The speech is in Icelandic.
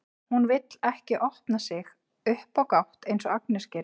Hún vill ekki opna sig upp á gátt eins og Agnes gerir.